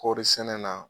Kɔɔri sɛnɛ na